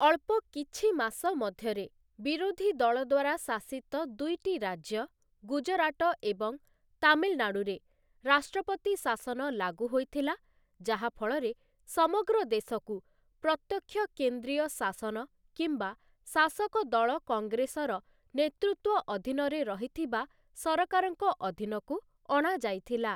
ଅଳ୍ପ କିଛି ମାସ ମଧ୍ୟରେ, ବିରୋଧୀ ଦଳ ଦ୍ଵାରା ଶାସିତ ଦୁଇଟି ରାଜ୍ୟ, ଗୁଜରାଟ ଏବଂ ତାମିଲନାଡ଼ୁରେ ରାଷ୍ଟ୍ରପତି ଶାସନ ଲାଗୁ ହୋଇଥିଲା, ଯାହା ଫଳରେ, ସମଗ୍ର ଦେଶକୁ ପ୍ରତ୍ୟକ୍ଷ କେନ୍ଦ୍ରୀୟ ଶାସନ କିମ୍ବା ଶାସକଦଳ କଂଗ୍ରେସର ନେତୃତ୍ୱ ଅଧୀନରେ ରହିଥିବା ସରକାରଙ୍କ ଅଧୀନକୁ ଅଣାଯାଇଥିଲା ।